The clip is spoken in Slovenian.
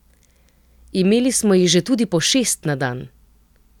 Imeli smo jih že tudi po šest na dan.